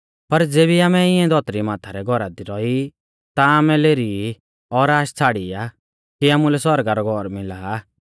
पर ज़ेबी आमै इऐं धौतरी माथा रै घौरा दी रौई ता आमै लेरी ई और आश छ़ाड़ी आ कि आमुलै सौरगा रौ घौर मिला आ